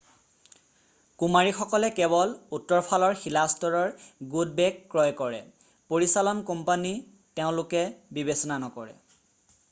কুমাৰীসকলে কেৱল উত্তৰফালৰ শিলাস্তৰৰ গুড বেক' ক্ৰয় কৰে পৰিচালন কোম্পানী তেওঁলোকে বিবেচনা নকৰে